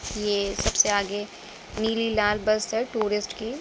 ये सबसे आगे नीली लाल बस है टुरिस्ट की।